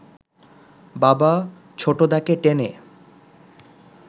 বাবা ছোটদাকে টেনে